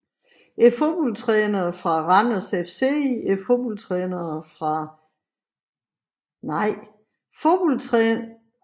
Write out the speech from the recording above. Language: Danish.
Fodboldtrænere fra Randers FC Fodboldtrænere fra Esbjerg fB